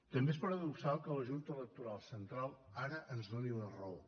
també és paradoxal que la junta electoral central ara ens doni la raó